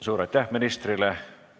Suur aitäh ministrile!